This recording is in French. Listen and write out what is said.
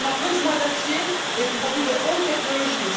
On a besoin d'acier et de produits de haute technologie.